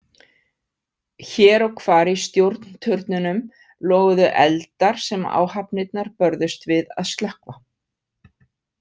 Hér og hvar í stjórnturnunum loguðu eldar sem áhafnirnar börðust við að slökkva.